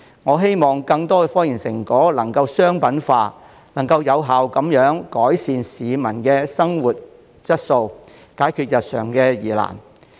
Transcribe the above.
我希望更多科研成果能夠商品化，有效改善市民的生活質素，解決日常疑難。